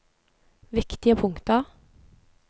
viktige punkter